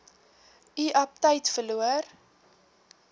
u aptyt verloor